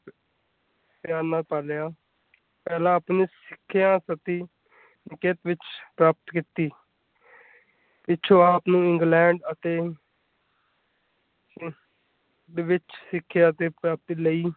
ਪਿਆਰ ਨਾਲ ਪਾਲ਼ਿਆ ਪਹਿਲਾਂ ਆਪਣੀ ਸਿੱਖਿਆ ਪ੍ਰਤੀ ਨਿਕੇਤਨ ਵਿਚ ਪ੍ਰਾਪਤ ਕੀਤੀ ਪਿੱਛੋਂ ਆਪ ਨੂੰ ਇੰਗਲੈਂਡ ਅਤੇ ਦੇ ਵਿਚ ਸਿੱਖਿਆ ਦੀ ਪ੍ਰਾਪਤੀ ਲਈ ਕਿਰਿਆਨਾ ਪਾ ਲਿਆ।